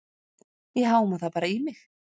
Ég háma það bara í mig.